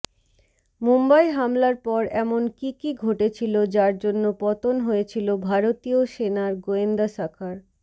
মুম্বই হামলার পর এমন কী কী ঘটেছিল যার জন্য পতন হয়েছিল ভারতীয় সেনার গোয়েন্দা শাখার